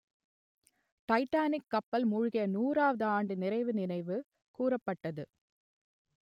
Titanic கப்பல் மூழ்கிய நூறுவது ஆண்டு நிறைவு நினைவு கூரப்பட்டது